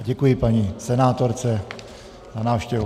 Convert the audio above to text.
A děkuji paní senátorce za návštěvu.